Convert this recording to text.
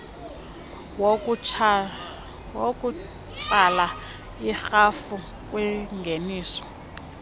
wokutsala irhafu kwingeniso